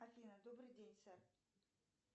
афина добрый день сэр